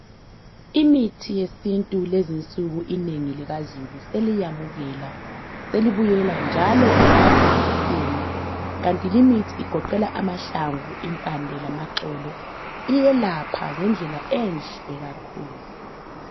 Imithi yesintu lezinsuku inengi likazulu zeliyamukela. Selibuyela njalo ekuyisebenziseni kanti limithi igoqela amahlamvu, impande lamaxolo, iyelapha ngendlela enhle kakhulu.